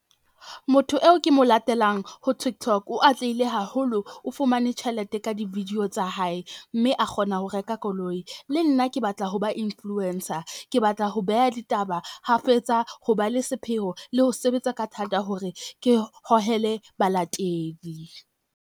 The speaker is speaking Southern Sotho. Motho eo ke mo latelang ho Tiktok, o atlehile haholo. O fumane tjhelete ka di-video tsa hae mme a kgona ho reka koloi. Le nna ke batla ho ba influencer. Ke batla ho beha ditaba hafetsa, ho ba le sepheho le ho sebetsa ka thata hore ke hohele balatedi.